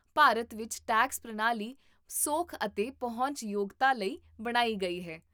ਭਾਰਤ ਵਿੱਚ ਟੈਕਸ ਪ੍ਰਣਾਲੀ ਸੌਖ ਅਤੇ ਪਹੁੰਚ ਯੋਗਤਾ ਲਈ ਬਣਾਈ ਗਈ ਹੈ